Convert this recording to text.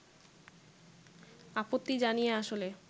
আপত্তি জানিয়ে আসলে